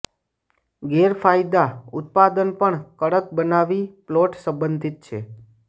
ગેરફાયદા ઉત્પાદન પણ કડક બનાવી પ્લોટ સંબંધિત છે